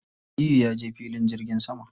Aliyu ya je filin jirgin sama.